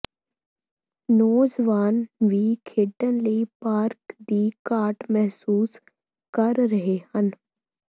ਨੌਜਵਾਨ ਵੀ ਖੇਡਣ ਲਈ ਪਾਰਕ ਦੀ ਘਾਟ ਮਹਿਸੂਸ ਕਰ ਰਹੇ ਹਨ